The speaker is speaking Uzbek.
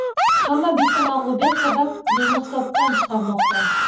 Hamma bitta mag‘lubiyat sabab meni hisobdan chiqarmoqda.